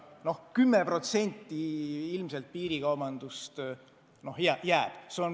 Noh, 10% piirikaubandust ilmselt jääb ikka.